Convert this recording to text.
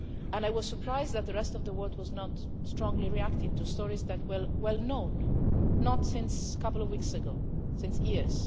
I was surprised that the rest of the world was not strongly reacting to stories that had been well known, not just for a couple of weeks, but for years.